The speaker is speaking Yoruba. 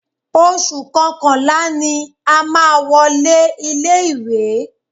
Oṣù kọkànlá ni a má a wọlé ilé ìwé.